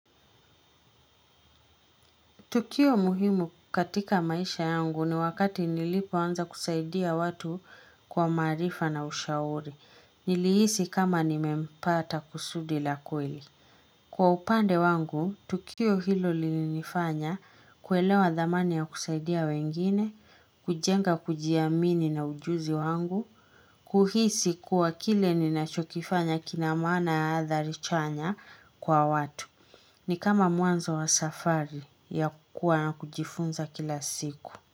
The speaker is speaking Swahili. Tukio muhimu katika maisha yangu ni wakati nilipoanza kusaidia watu kwa marifa na ushauri. Nilihisi kama nimempata kusudi la kweli. Kwa upande wangu, tukio hilo lilinifanya kuelewa dhamani ya kusaidia wengine, kujenga kujiamini na ujuzi wangu, kuhisi kuwa kile ninachokifanya kinamana ya hathari chanya kwa watu. Ni kama mwanzo wa safari ya kukua na kujifunza kila siku.